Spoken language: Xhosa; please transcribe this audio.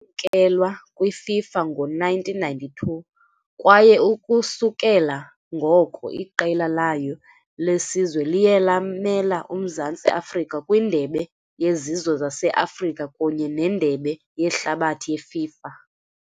Yamkelwa kwiFIFA ngo -1992 kwaye ukususela ngoko iqela layo lesizwe liye lamela uMzantsi Afrika kwiNdebe yeZizwe zase-Afrika kunye neNdebe yeHlabathi yeFIFA .